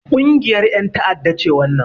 Ƙungiyar ƴan ta'adda ce wannan